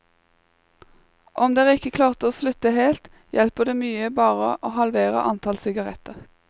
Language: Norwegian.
Om dere ikke klarte å slutte helt, hjelper det mye å bare halvere antall sigaretter.